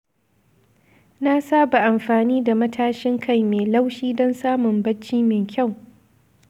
Na saba amfani da matashin kai mai laushi don samun bacci mai kyau.